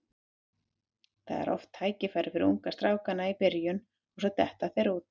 Það er oft tækifæri fyrir ungu strákana í byrjun og svo detta þeir út.